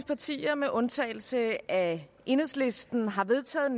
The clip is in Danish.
partier med undtagelse af enhedslisten har vedtaget